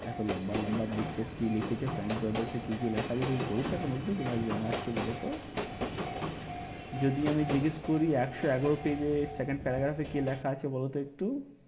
এত লম্বা লম্বা books এ কী লিখেছে, Franks brothers এ কী কী লেখা আছে তুমি পড়েছ এখন অবধি? তোমার exam আসছে, বলতো? যদি আমি জিজ্ঞেস করি একশ এগারো page এ second paragraph এ কী লেখা আছে বলতো একটু?